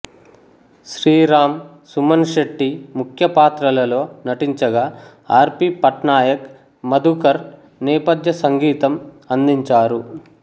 శ్రీరామ్ సుమన్ శెట్టి ముఖ్యపాత్రలలో నటించగా R P Patnaik Madhukar నేపథ్య సంగీతం సంగీతం అందించారు